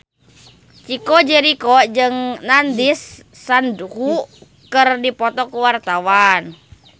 Chico Jericho jeung Nandish Sandhu keur dipoto ku wartawan